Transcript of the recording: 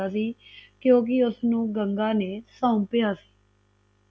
ਕਿਉਕਿ ਉਸਨੂੰ ਗੰਗਾ ਨੇ ਸੌਪਿਆ ਸੀ